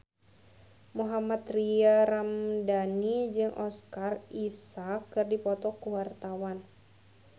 Mohammad Tria Ramadhani jeung Oscar Isaac keur dipoto ku wartawan